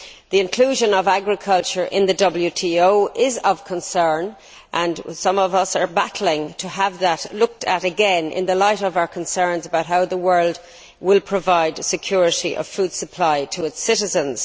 The inclusion of agriculture in the WTO is of concern, and some of us are battling to have that looked at again in the light of our concerns over how the world will provide security of food supply to its citizens.